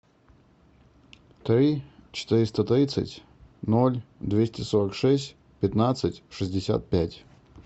три четыреста тридцать ноль двести сорок шесть пятнадцать шестьдесят пять